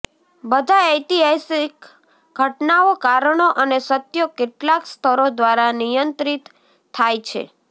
બધા ઐતિહાસિક ઘટનાઓ કારણો અને સત્યો કેટલાક સ્તરો દ્વારા નિયંત્રિત થાય છે